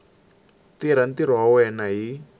tirha ntirho wa yena hi